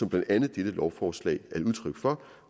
blandt andet dette lovforslag er et udtryk for